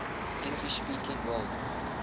english speaking world